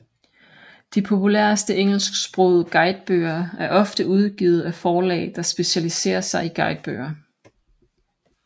De populæreste engelsksprogede guidebøger er ofte udgivet af forlag der specialisere sig i guidebøger